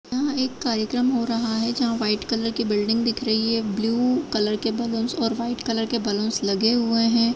यहाँ एक कार्यक्रम हो रहा है जहाँ वाईट कलर की बिल्डिंग दिख रही है ब्लू कलर के ब्लुन्स और वाईट कलर के बलुन्स लगे हुए हैं।